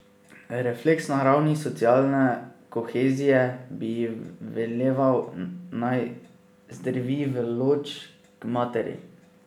Refleks na ravni socialne kohezije bi ji veleval, naj zdrvi v Lodž, k materi.